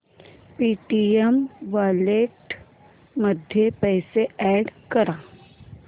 Paytm wallet मध्ये पैसे add कर